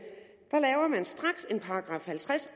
man straks laver en § halvtreds